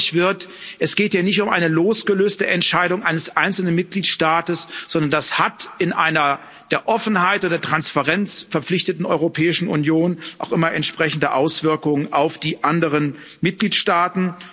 Dass deutlich wird, es geht ja nicht um eine losgelöste Entscheidung eines einzelnen Mitgliedstaates, sondern das hat in einer der Offenheit und der Transparenz verpflichteten Europäischen Union auch immer entsprechende Auswirkungen auf die anderen Mitgliedstaaten.